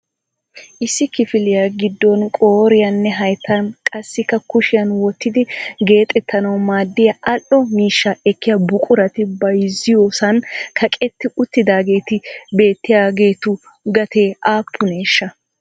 Issi kifiliyaa giddon qooriyaninne hayttan qassikka kushiyaan wottidi geexettanaw maaddiyaa al"o miishsha ekkiya buqurati bayzziyoosan kaqqeti uttidaageeti beettiyaagetu gatee aappuneshsha?